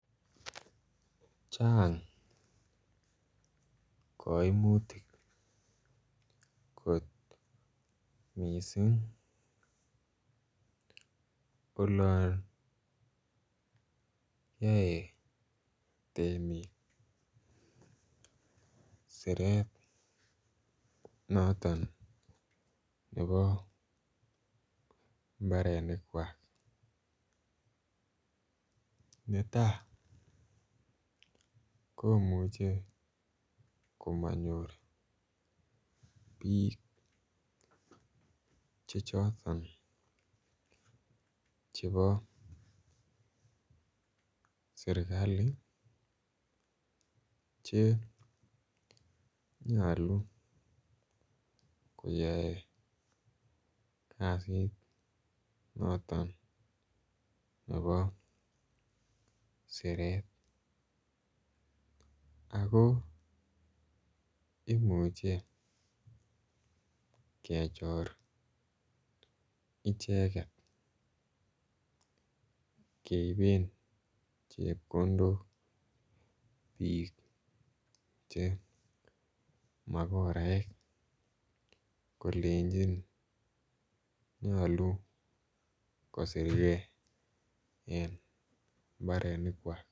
Chang koimutik kot mising olon yoe temik siret noton nebo mbarenikwak netai ko muche komanyor bik Che choton chebo serkali Che nyolu koyae kasit noton nebo siret ak imuche kechor icheget keiben chepkondok bik Che makoraek kolenjin nyolu kosirge en mbarenikwak